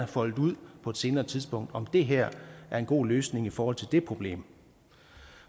foldet ud på et senere tidspunkt altså om det her er en god løsning i forhold til det problem